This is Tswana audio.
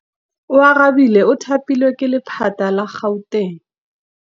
Oarabile o thapilwe ke lephata la Gauteng.